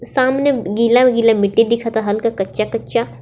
सामने गीला- गीला मिट्टी दिखत हाल का कच्चा-कच्चा--.